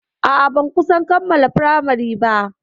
A'a, ban kusan kammala firamari ba.